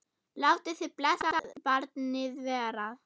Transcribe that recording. Látið þið blessað barnið vera.